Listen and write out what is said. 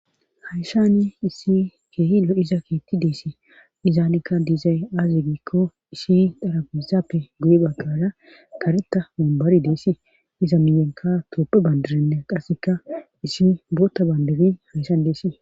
haysani issi keehi lo7 iza kiitti deesi izaanekka diizay aaze giikko issi darapoisappe guye baggala karetta mumbari deesii iza miyenka tooppe bandirinne qasseka issi bootta bandiri hayssan deesii